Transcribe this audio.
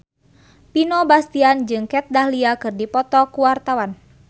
Vino Bastian jeung Kat Dahlia keur dipoto ku wartawan